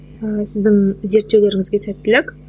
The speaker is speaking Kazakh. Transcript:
ыыы сіздің зерттеулеріңізге сәттілік